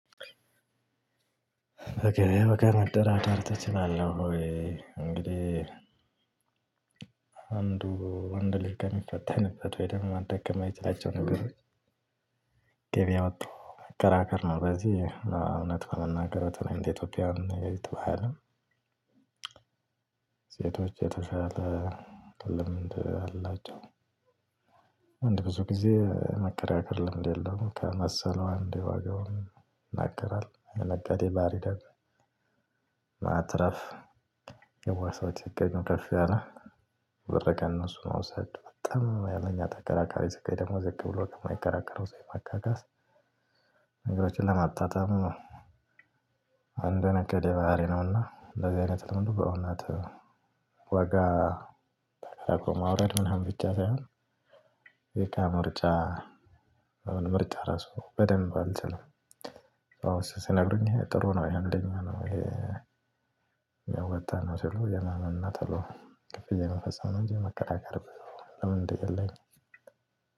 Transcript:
በገበያ ዋጋ መደራደር ትችላለህ ወይ? እንግዲህ አንዱ ወንድ ልጅ ከሚፈተንበት ወይ ደግሞ ማድረግ ከማይችላቸው ነገሮች። ገበያ ወቶ መከራከር ነው በዚህ እና እውነት ለመናገር በተለይ እንደ ኢትዮጵያን ግብይት ባህልም። ሴቶች የተሻለ ልምድ አላቸው። ወንድ ብዙ ጊዜ የመከራከር ልምድ የለውም ከመሰለው አንዴ ዋጋውን ይናገራል የነጋዴ ባህሪ ደግሞ። ማትረፍ የዋህ ሰዎች ሲገኙ ከፍ ያለ ብር ከእነሱ መውሰድ በጣም ሀይለኛ ተከራካሪ ሲገኝ ደግሞ ዝቅ ብሎ ከማይከራከረው ሰው የማካካስ ነገሮችን ለማጣጣም። የአንድ ነጋዴ ባህሪ ነውና ለዚህ አይነት ልምዱ በእውነት ዋጋ ተከራክሮ ማውረድ ምናምን ብቻ ሳይሆን። የእቃ ምርጫ አሁን ምርጫ እራሱ በደንብ አልችልም። ሰዎች ሲነግሩኝ ጥሩ ነው ያሉኝን እኔ ያዋጣል ሲሉ የማመን እና ቶሎ ክፍያ የመፈጸም ነው እንጂ የመከራከርም ልምድ የለኝም።